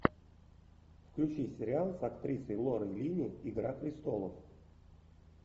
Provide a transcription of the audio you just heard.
включи сериал с актрисой лорой линни игра престолов